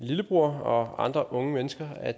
lillebror og andre unge mennesker at